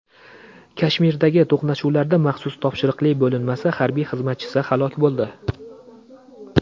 Kashmirdagi to‘qnashuvlarda maxsus topshiriqli bo‘linmasi harbiy xizmatchisi halok bo‘ldi.